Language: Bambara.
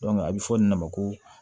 a bɛ fɔ nin de ma ko